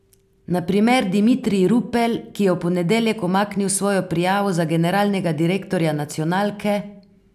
Na primer Dimitrij Rupel, ki je v ponedeljek umaknil svojo prijavo za generalnega direktorja nacionalke.